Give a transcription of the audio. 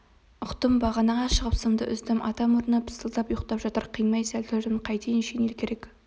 ұқтым бағанаға шығып сымды үздім ата мұрны пысылдап ұйықтап жатыр қимай сәл тұрдым қайтейін шинель керек